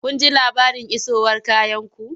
Kun ji labarin isowar kayanku?